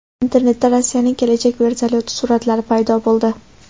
Internetda Rossiyaning kelajak vertolyoti suratlari paydo bo‘ldi.